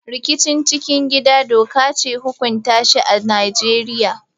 Rikicin cikin gida doka ce ta huƙunta shi a Najeriya.